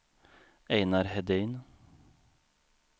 Einar Hedin